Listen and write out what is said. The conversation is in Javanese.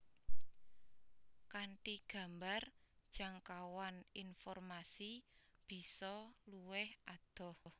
Kanthi gambar jangkauan informasi bisa luwih adoh